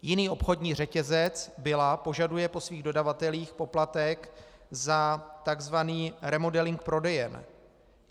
Jiný obchodní řetězec, Billa, požaduje po svých dodavatelích poplatek za tzv. remodeling prodejen.